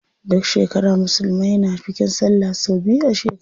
Duk shekara musulmai na bikin sallah sau biyu a shekara.